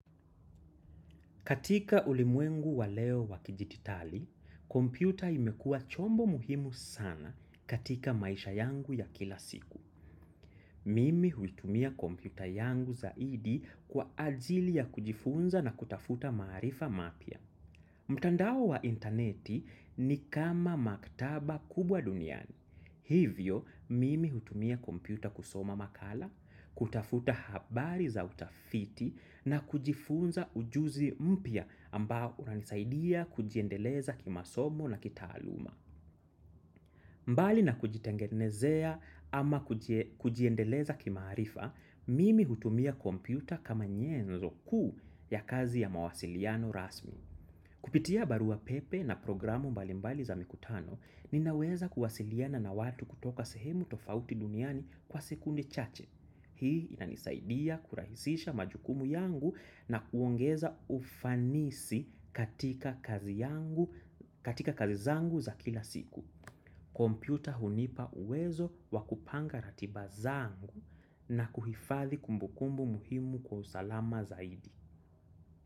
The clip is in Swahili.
Katika ulimwengu wa leo wa kidijitali, kompyuta imekuwa chombo muhimu sana katika maisha yangu ya kila siku. Mimi huitumia kompyuta yangu zaidi kwa ajili ya kujifunza na kutafuta maarifa mapya. Mtandao wa intaneti ni kama maktaba kubwa duniani. Hivyo mimi hutumia kompyuta kusoma makala, kutafuta habari za utafiti na kujifunza ujuzi mpya ambao unanisaidia kujiendeleza kimasomo na kitaaluma. Mbali na kujitengenezea ama kujiendeleza kimaarifa, mimi hutumia kompyuta kama nyenzo kuu ya kazi ya mawasiliano rasmi. Kupitia barua pepe na programu mbalimbali za mikutano, ninaweza kuwasiliana na watu kutoka sehemu tofauti duniani kwa sekunde chache. Hii inanisaidia kurahisisha majukumu yangu na kuongeza ufanisi katika kazi yangu katika kazi zangu za kila siku. Kompyuta hunipa uwezo wa kupanga ratiba zangu na kuhifathi kumbukumbu muhimu kwa usalama zaidi.